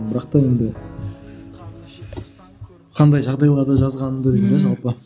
бірақ та енді қандай жағдайларда жазғанымды деймін де жалпы